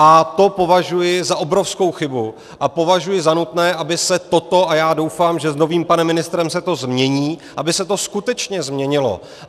A to považuji za obrovskou chybu a považuji za nutné, aby se toto - a já doufám, že s novým panem ministrem se to změní - aby se to skutečně změnilo.